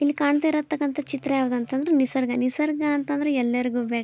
ಇಲ್ ಕಾಂತಾ ಇರೋ ತಕ್ಕಂಥ ಚಿತ್ರ ಯಾವ್ದು ಅಂತಂದ್ರೆ ನಿಸರ್ಗ ನಿಸರ್ಗ ಅಂತಂದ್ರೆ ಎಲ್ಲರಿಗೂ ಬೇಕ್''